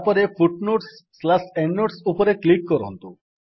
ତାପରେ footnotesଏଣ୍ଡନୋଟ୍ସ ଉପରେ କ୍ଲିକ୍ କରନ୍ତୁ